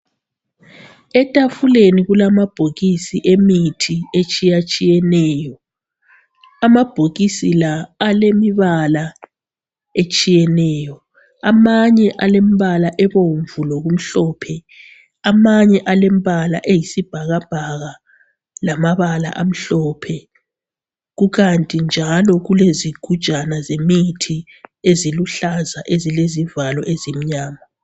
Etafuleni kulama bhokisi emithi etshiyatshiyeneyo ama bhokisi la alemibala etshiyeneyo amanye alembala ebomvu lokumhlophe amanye alembala eyisibhakabhaka lamabala amhlophe kukanti njalo kulezigujana zemithi eziluhlaza exilezivalo ezimnyama